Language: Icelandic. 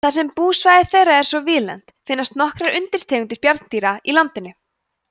þar sem búsvæði þeirra er svo víðlent finnast nokkrar undirtegundir bjarnanna í landinu